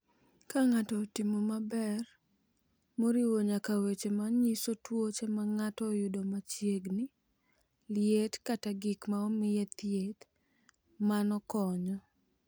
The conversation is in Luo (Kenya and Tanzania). "Ka ng’ato otimo maber, moriwo nyaka weche ma nyiso tuoche ma ng’ato oyudo machiegni, liet, kata gik ma omiye thieth, mano konyo."